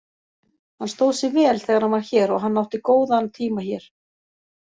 Hann stóð sig vel þegar hann var hér og hann átti góðan tíma hér.